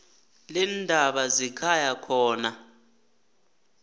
leendaba zekhaya khona